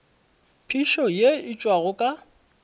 phišo ye e tšwago ka